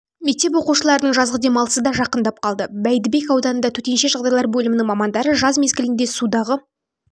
мектеп оқушыларының жазғы демалысы да жақындап қалды бәйдібек ауданы төтенше жағдайлар бөлімінің мамандары жаз мезгілінде судағы